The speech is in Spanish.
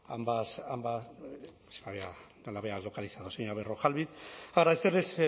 ambas no la había localizado señora berrojalbiz agradecerles